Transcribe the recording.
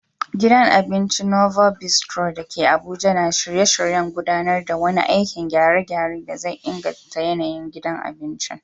Gidan abincin Novo Bistro da ke Bauchi na shirye-shiryen gudanar da wani aikin gyare-gyare da zai inganta yanayin gidan abincin.